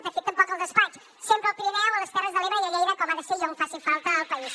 de fet tampoc al despatx sempre al pirineu a les terres de l’ebre i a lleida com ha de ser i on faci falta al país